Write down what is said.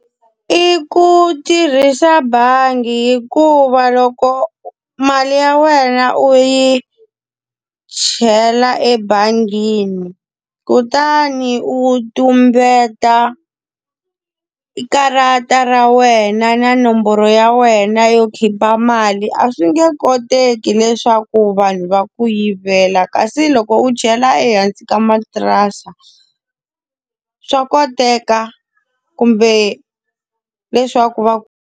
I ku tirhisa bangi hikuva loko mali ya wena u yi chela ebangini, kutani u tumbeta i karata ra wena na nomboro ya wena yo khipha mali a swi nge koteki leswaku vanhu va ku yivela. Kasi loko u chela ehansi ka matirasi swa koteka kumbe leswaku va .